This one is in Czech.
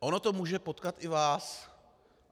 Ono to může potkat i vás.